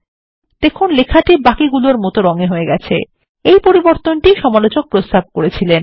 দেখুন লেখাটি বাকিগুলোর মত রং এ হয়ে গেছে এই পরিবর্তন সমালোচক প্রস্তাব করেছিলেন